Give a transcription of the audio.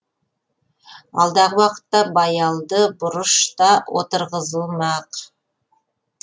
алдағы уақытта баялды бұрыш та отырғызылмақ